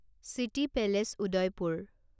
city palace Udaipur